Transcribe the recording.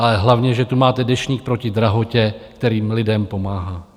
Ale hlavně že tu máte Deštník proti drahotě, kterým lidem pomáhá.